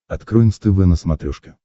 открой нств на смотрешке